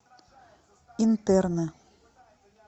интерны